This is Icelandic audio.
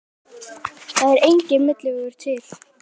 Það er enginn milli vegur til.